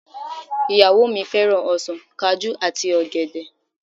Ìyàwó mi fẹ́ràn ọsàn, Kajú àti ọ̀gẹ̀dẹ̀